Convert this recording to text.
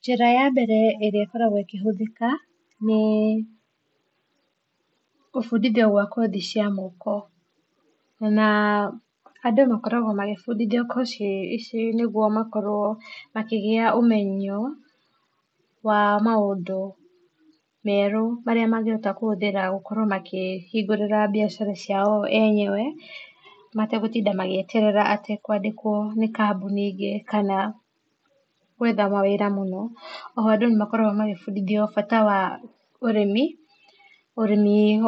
Njĩra ya mbere ĩrĩa ĩgĩkoragwo ĩkĩhũthĩka nĩ gũbũndithio gwa kothi cia moko na andũ makoragwo magĩbũndithio kothi ici nĩgũo makorwo makĩgĩa ũmenyo wa maũndũ merũ marĩa mangĩhota kũhũthĩra gũkorwo makĩhĩngũra biacara cia o enyewe mategũtĩnda magĩeterera kwandĩkwo nĩ kambũnĩ ingĩ kana gwetha mawĩra mũno oho andũ nĩmakoragwo magĩbũndithio bata wa ũrĩmi